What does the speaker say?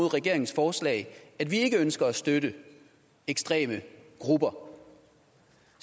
regeringens forslag at vi ikke ønsker at støtte ekstreme grupper